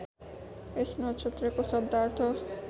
यस नक्षत्रको शब्दार्थ